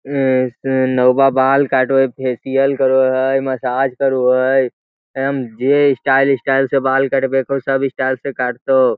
एय से नौआ बाल काटो ह फेशियल करो ह एय मसाज करू है एम.जे. स्टाइल स्टाइल से बाल करवे को सब स्टाइल से काट तो ।